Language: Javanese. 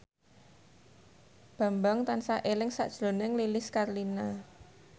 Bambang tansah eling sakjroning Lilis Karlina